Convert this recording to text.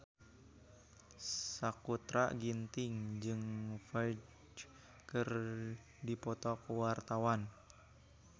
Sakutra Ginting jeung Ferdge keur dipoto ku wartawan